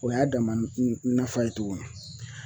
O y'a dama nafa ye tuguni